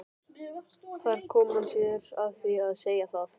Þar kom hann sér að því að segja það.